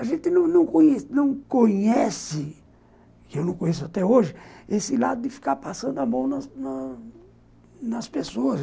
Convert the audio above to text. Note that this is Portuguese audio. A gente não não conhece, que eu não conheço até hoje, esse lado de ficar passando a mão na nas pessoas.